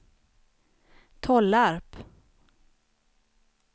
Tollarp